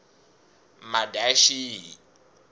madyaxihi